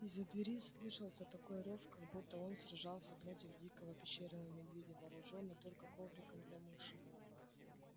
а из-за двери слышался такой рёв как будто он сражался против дикого пещерного медведя вооружённый только ковриком для мыши